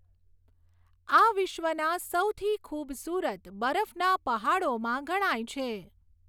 આ વિશ્વના સૌથી ખૂબસુરત બરફના પહાડોમાં ગણાય છે.